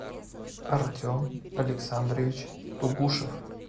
артем александрович тугушев